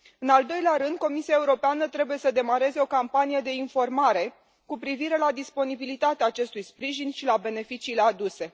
În al doilea rând, Comisia Europeană trebuie să demareze o campanie de informare cu privire la disponibilitatea acestui sprijin și la beneficiile aduse.